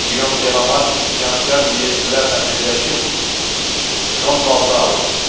Giom Delamark üsyankar Liejlilərlə birləşib, Şonvalda alıb.